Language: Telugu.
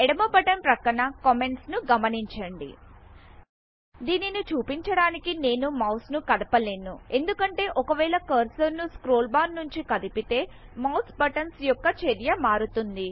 ఎడమ బటన్ ప్రక్కన కామెంట్స్ ను గమనించండి దీనిని చూపించడానికి నేను మౌస్ ను కదపలేను ఎందుకంటే ఒకవేళ కర్సర్ ను స్క్రోల్ బార్ నుంచి కదిపితే మౌస్ బటన్స్ యొక్క చర్య మారుతుంది